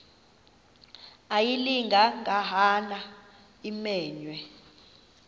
ayilinga gaahanga imenywe